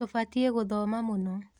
Tũbatiĩ gũthoma mũno.